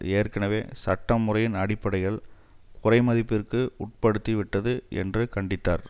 ஏற்கனவே சட்ட முறையின் அடிப்படைகள் குறைமதிப்பிற்கு உட்படுத்திவிட்டது என்று கண்டித்தார்